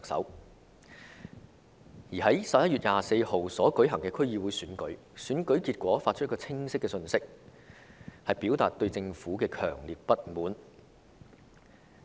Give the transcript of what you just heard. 另一方面，在11月24日舉行的區議會選舉，選舉結果帶出一個清晰的信息，就是市民表達了對政府的強烈不滿。